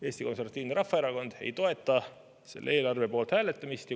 Eesti Konservatiivne Rahvaerakond ei toeta selle eelarve poolt hääletamist.